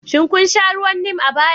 Shin kun sha ruwan Neem a baya?